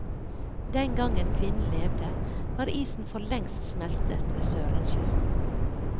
Den gangen kvinnen levde, var isen forlengst smeltet ved sørlandskysten.